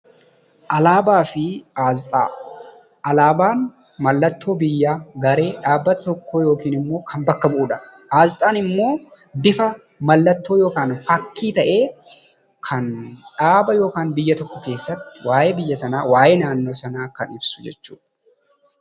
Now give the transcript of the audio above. Alaabaa fi Asxaa: alaabaan mallattoo biyyaa, garee, dhaabbata tokkoo yookiin immoo kan bakka bu'udha. Asxaan immoo bifa mallattoo yookaan fakkii ta'ee, kan dhaaba yookaan biyya tokko keessatti waa'ee biyya sanaa, waa'ee naannoo sanaa kan ibsu jechuudha.